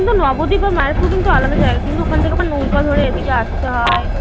কিন্তু নবদ্বীপ আর মায়াপুর কিন্তু আলাদা জায়গা. কিন্তু ওখান থেকে আবার নৌকা ধরে এদিকে আসতে হবে.